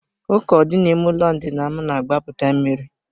Uko dị n'ime ụlọ ndina m na-agbapụta mmiri.